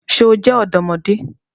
Ṣe o jẹ ọdọmọde?